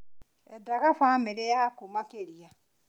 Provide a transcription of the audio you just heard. Endaga bamĩrĩ yaku makĩria